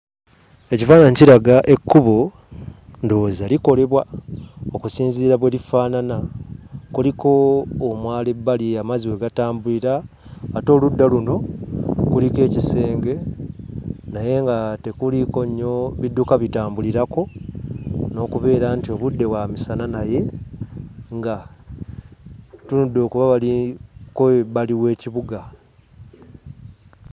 Ekifaananyi kiraga ekkubo ndowooza likolebwa okusinziira bwe lifaanana kuliko omwala ebbali amazzi we gatambulira ate oludda luno kuliko ekisenge naye nga tekuliiko nnyo bidduka bitambulirako n'okubeera nti obudde bwa misana naye nga tuludde kuba baliko ebbali w'ekibuga.